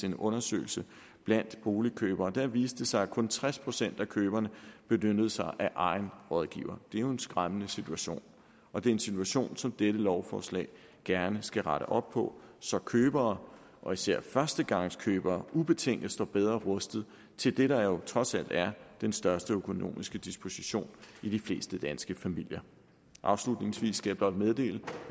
en undersøgelse blandt boligkøbere og der viste det sig at kun tres procent af køberne benyttede sig af egen rådgiver det er jo en skræmmende situation og det er en situation som dette lovforslag gerne skal rette op på så købere og især førstegangskøbere ubetinget står bedre rustet til det der jo trods alt er den største økonomiske disposition i de fleste danske familier afslutningsvis skal jeg blot meddele